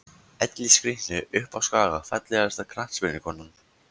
Elli skrítni uppá skaga Fallegasta knattspyrnukonan?